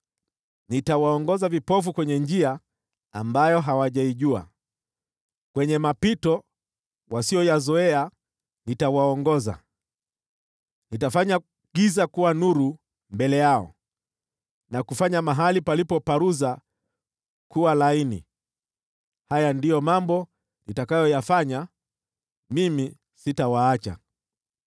Nitawaongoza vipofu kwenye njia ambayo hawajaijua, kwenye mapito wasiyoyazoea nitawaongoza; nitafanya giza kuwa nuru mbele yao, na kufanya mahali palipoparuza kuwa laini. Haya ndiyo mambo nitakayofanya; mimi sitawaacha.